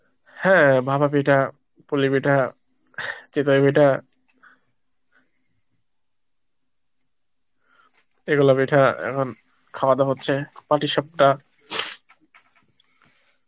হ্যাঁ ভাপা পিঠা, পুলি পিঠা, চিতই পিঠা এগুলো পিঠা এখন খাওয়া দাওয়া হচ্ছে, পাটিসাপটা